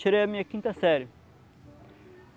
Tirei a minha quinta série.